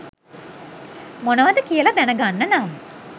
මොනවද කියලා දැනගන්න නම්